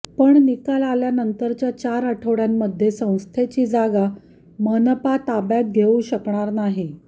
पण निकाल आल्यानंतरच्या चार आठवड्यांमध्ये संस्थेची जागा मनपा ताब्यात घेऊ शकणार नाही